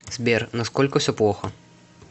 сбер насколько все плохо